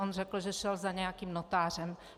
On řekl, že šel za nějakým notářem.